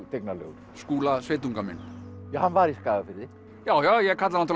tignarlegur Skúla sveitunga minn ja hann var í Skagafirði já já ég kalla